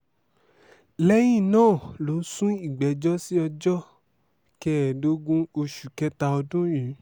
lẹyin naa lo sun igbẹjọ si ọjọ kẹẹdogun oṣu kẹta ọdun yìí